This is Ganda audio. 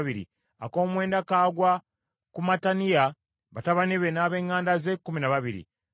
ak’omwenda kagwa ku Mattaniya, batabani be, n’ab’eŋŋanda ze, kkumi na babiri;